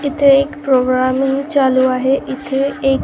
इथे एक प्रोग्रामिंग चालू आहे इथे एक --